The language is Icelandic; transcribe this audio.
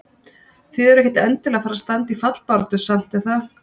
Þið eruð ekkert endilega að fara að standa í fallbaráttu samt er það?